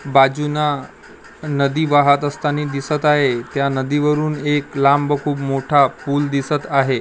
बाजूनं नदी वाहत असताने दिसतं आहे. त्या नदीवरून एक लांब खूप मोठा पूल दिसतं आहे.